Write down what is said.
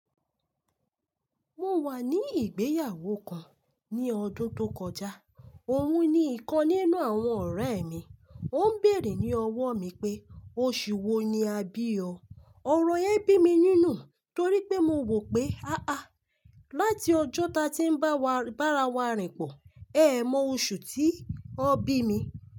Mo wà ní ìgbéyàwó kan ní ọdún tó kọjá. Òun ni ìkan nínú àwọn ọ̀rẹ́ mi, ó ń bèèrè ní ọwọ́ mi pé oṣù wo ni a bí ọ. Ọ̀rọ̀ yẹn bí mi nínú torí pé mo wò pé, "àh áh, láti ọjọ́ ta tí ń bá wa ràwọ̀ rìn pọ̀, ẹ́ mọ oṣù tí wọ́n bí mi."